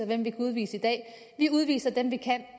hvem vi kan udvise i dag vi udviser dem vi kan